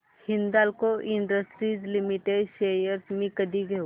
Hindalco industries limited shares मी कधी घेऊ